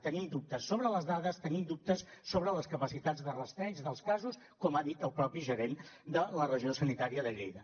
tenim dubtes sobre les dades tenim dubtes sobre les capacitats de rastreig dels casos com ha dit el mateix gerent de la regió sanitària de lleida